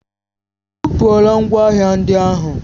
Ebupula ngwa ahịa ndị ahụ?